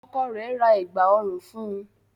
Ọkọ rẹ̀ ra Ẹ̀gbá ọrùn fun